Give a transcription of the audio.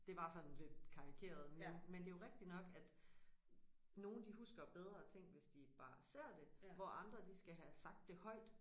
Det var sådan lidt karikeret men men det jo rigtigt nok at nogen de husker bedre ting hvis de bare ser det hvor andre de skal have sagt det højt